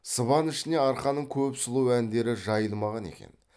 сыбан ішіне арқаның көп сұлу әндері жайылмаған екен